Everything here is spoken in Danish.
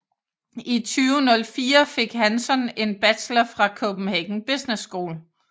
I 2004 fik Hansson en bachelor fra Copenhagen Business School